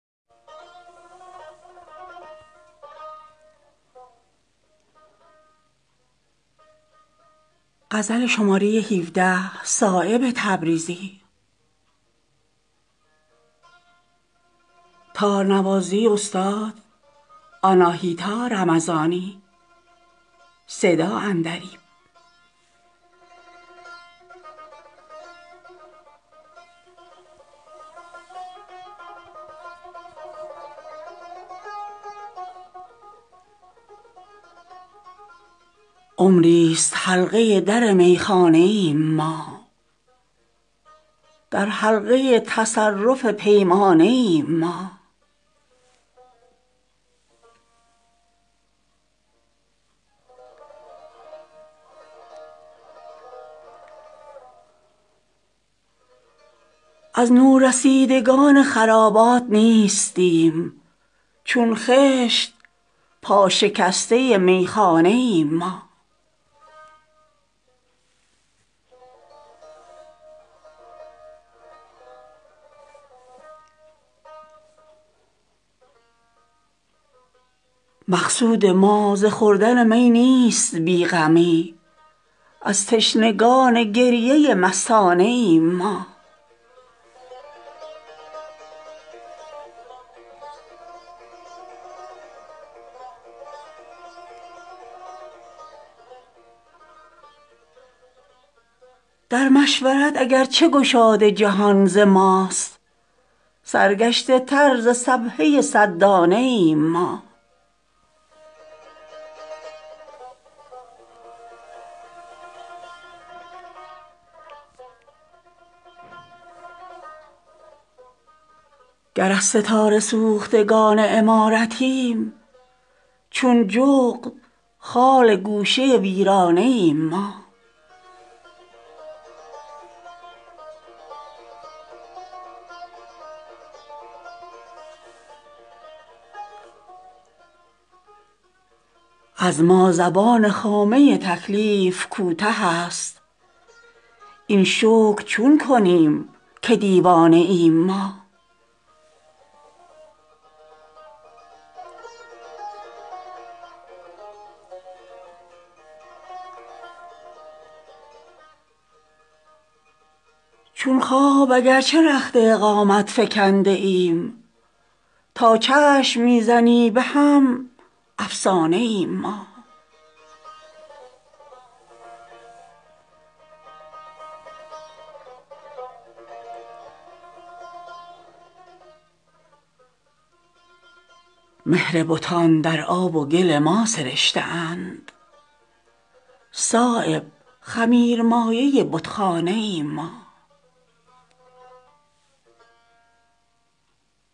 عمری است حلقه در میخانه ایم ما در حلقه تصرف پیمانه ایم ما مقصود ما ز خوردن می نیست بی غمی از تشنگان گریه مستانه ایم ما در چشم ناقصان جهان گرچه نارسیم چون باده جوش سینه میخانه ایم ما عشاق را به تیغ زبان گرم می کنیم چون شمع تازیانه پروانه ایم ما گر از ستاره سوختگان عمارتیم چون جغد خال گوشه ویرانه ایم ما عمری است رفته ایم ازین خاکدان برون بی درد را خیال که در خانه ایم ما چون خواب اگرچه رخت اقامت فکنده ایم تا چشم می زنی به هم افسانه ایم ما از نورسیدگان خرابات نیستیم چون خشت پا شکسته میخانه ایم ما جز جستجوی رزق نداریم هیچ کار چون آسیا به گرد پی دانه ایم ما در مشورت اگرچه گشاد جهان ز ماست سرگشته تر ز سبحه صد دانه ایم ما از ما زبان خامه تکلیف کوته است این شکر چون کنیم که دیوانه ایم ما مهربتان در آب و گل ما سرشته اند صایب خمیر مایه بتخانه ایم ما